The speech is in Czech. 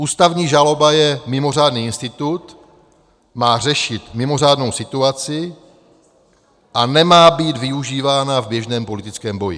Ústavní žaloba je mimořádný institut, má řešit mimořádnou situaci a nemá být využívána v běžném politickém boji.